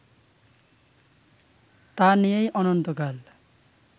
তা নিয়েই অনন্তকাল